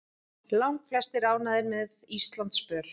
Langflestir ánægðir með Íslandsför